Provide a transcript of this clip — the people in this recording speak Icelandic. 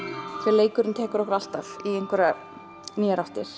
leikurinn tekur okkur alltaf í nýjar áttir